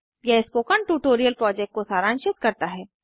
यह spoken tutorial project को सरांशित करता है